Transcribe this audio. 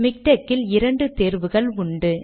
MiKTeX இல் இரண்டு தேர்வுகள் உண்டு